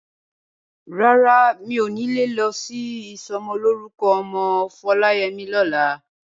Rárá, mi ò ní lè lọ sí ìsọmọlórúkọ ọmọ Foláyẹmí lọ́la.